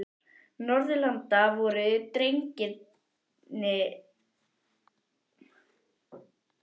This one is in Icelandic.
Norðurlanda voru dregnir að húni og þjóðsöngvar sungnir.